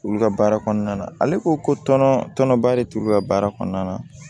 Olu ka baara kɔnɔna na ale ko konɔ tɔnɔba de t'olu ka baara kɔnɔna na